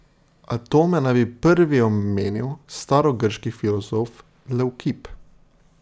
Atome naj bi prvi omenil starogrški filozof Levkip.